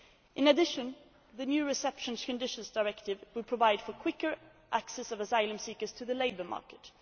In addition, the new Reception Conditions Directive will provide for quicker access for asylum seekers to the labour market.